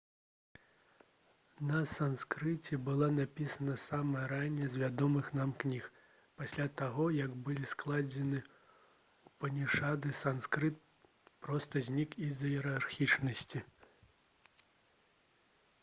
на санскрыце была напісана самая ранняя з вядомых нам кніг пасля таго як былі складзены упанішады санскрыт проста знік з-за іерархічнасці